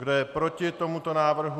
Kdo je proti tomuto návrhu?